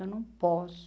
Eu não posso.